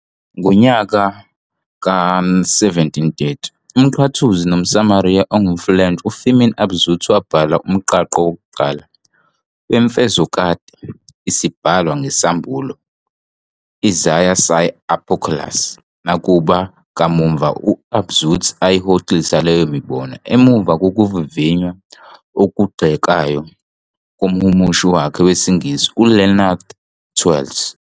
Ngonyaka ka-1730 umNqathuzi nomAriyana ongumfulentshi, uFirmin Abauzit wabhala umqangqo wokuqala wemfezokade, "Isibhalwa ngesAmbulo" "Essai sur l'Apocalypse". Nakuba, kamuva, uAbauzit ayihoxisa leyo mibono emva kokuvivinywa okugxekayo komhumushi wakhe wesingisi, uLeonard Twells.